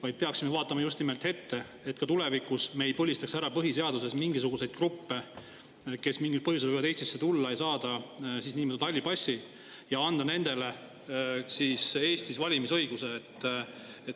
Me peaksime vaatama just nimelt ette, et me ei põlistaks põhiseaduse kohaselt mingisuguseid gruppe, kes mingil põhjusel võivad Eestisse tulla ja saada siin niinimetatud halli passi ja ka valimisõiguse.